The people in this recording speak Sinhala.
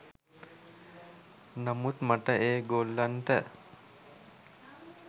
නමුත් මට ඒ ගොල්ලන්ට